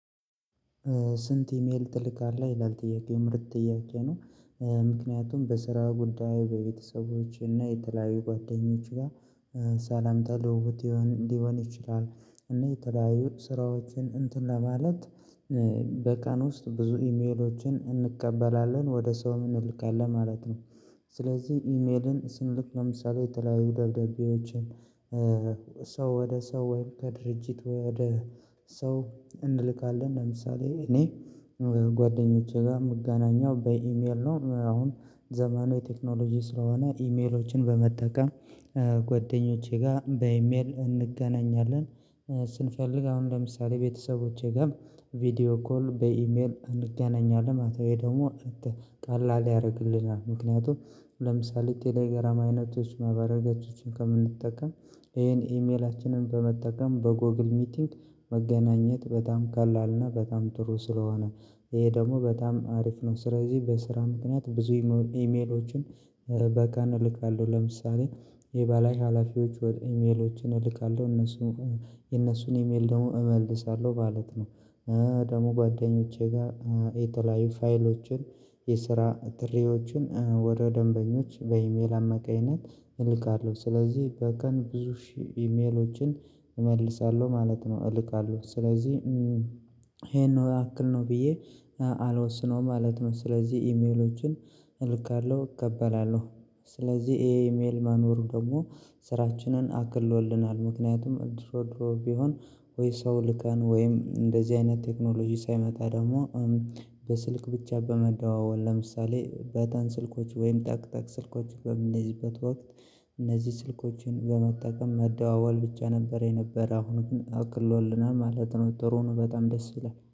ስንት ኢሜል ትልካለህ ይላል ጥያቄው ምርጥ ጥያቄ ነው? ምክንያቱም በስራ ጉዳይ በቤተሰቦች እና የተለያዩ ጓደኞች ጋር ሰላምታ ልውውጥ ሊሆን ይችላል። እና የተለያዩ ስራዎችን እንትን ለማለት በቀን ውስጥ ብዙ ኢሜሎችን እንቀበላለን ወደ ሰውም እንልካለን ማለት ነው። ስለዚህ ኢሜልን ስንልክ ለምሳሌ የተለያዩ ደብዳቤዎችን ሰው ወደ ሰው ወይም ከድርጅት ወደ ሰው እንልካለን። ለምሳሌ እኔ ጓደኞቼ ጋር የምገናኘው በኢሜል ነው። አሁን ዘመኑ የቴክኖሎጂ ስለሆነ ኢሜሎችን በመጠቀም ጓደኞቼ ጋር በኢሜል እንገናኛለን። ስንፈልግ አሁን ለምሳሌ ቤተሰቦቼ ጋር ቪዲዮ ኮል በኢሜል እንገናኛለን ማለት ነው። ይሄ ደሞ ቀላል ያረግልናል። ምክንያቱም ለምሳሌ ቴሌግራም አይነቶች ማህበረገጾችን ከምንጠቀም ይሄን ኢሜላችንን በመጠቀም በጎግል ሚቲንግ መገናኘት በጣም ቀላልና በጣም ጥሩ ስለሆነ። ይሄ ደሞ በጣም አሪፍ ነው። ስለዚህ በስራ ምክንያት ብዙ ኢሜሎችን በቀን እልካለሁ ለምሳሌ የበላይ ሀላፊዎች ወደ ኢሜሎች እልካለሁ እነሱን የእነሱን ኢሜል ደግሞ እመልሳለሁ ማለት ነው። ደግሞ ጓደኞቼ ጋር የተለያዩ ፋይሎችን የስራ ጥሪዎችን ወደ ደንበኞች በኢሜል አመካኝነት እልካለሁ ስለዚህ በቀን ብዙ ሺህ ኢሜሎችን እመልሳለሁ ማለት ነው። እልካለሁ ስለዚህ ይሄን ነው ያክል ነው ብዬ አልወስነውም ማለት ነው። ስለዚህ ኢሜሎችን እልካለሁ እቀበላለሁ ስለዚህ ይሄ ኢሜል መኖሩ ደሞ ስራችንን አቅሎልናል። ምክንያቱም ድሮድሮ ቢሆን ወይ ሰው ልከን ወይም እንደዚህ አይነት ቴክኖሎጂ ሳይመጣ ደግሞ በስልክ ብቻ በመደዋወል ለምሳሌ በተን ስልኮች ወይም ጠቅጠቅ ስልኮችን በምንይዝበት ወቅት እነዚህ ስልኮችን በመጠቀም መደዋወል ብቻ ነበር የነበረ አሁን ግን አቅሎልናል ማለት ነው። ጥሩ ነው በጣም ደስ ይላል